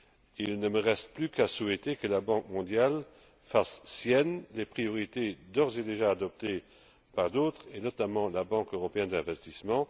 Il ne me reste plus qu'à souhaiter que la Banque mondiale fasse siennes les priorités d'ores et déjà adoptées par d'autres, notamment la Banque européenne d'investissement.